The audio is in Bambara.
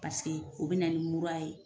Paseke o bɛ na ni mura ye.